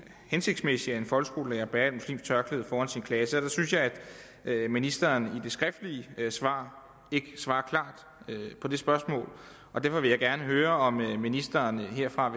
hensigtsmæssigt at en folkeskolelærer bærer et muslimsk tørklæde foran sin klasse og der synes jeg at ministeren i det skriftlige svar ikke svarer klart på det spørgsmål og derfor vil jeg gerne høre om ministeren herfra